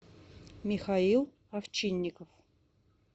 михаил овчинников